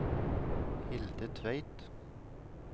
Hilde Tveit